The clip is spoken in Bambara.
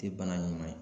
Te bana ɲuman ye